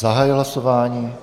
Zahajuji hlasování.